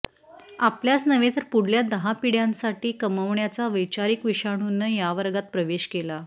आपल्याच नव्हे तर पुढल्या दहा पिढ्यांसाठी कमवण्याच्या वैचारिक विषाणूनं या वर्गात प्रवेश केला